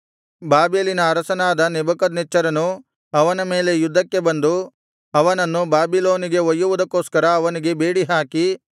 ಬಾಬೆಲಿನ ಅರಸನಾದ ನೆಬೂಕದ್ನೆಚ್ಚರನು ಅವನ ಮೇಲೆ ಯುದ್ಧಕ್ಕೆ ಬಂದು ಅವನನ್ನು ಬಾಬಿಲೋನಿಗೆ ಒಯ್ಯುವುದಕ್ಕೋಸ್ಕರ ಅವನಿಗೆ ಬೇಡಿಹಾಕಿ